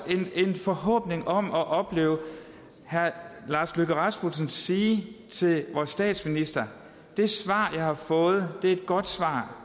en forhåbning om at opleve herre lars løkke rasmussen sige til vores statsminister det svar jeg har fået er et godt svar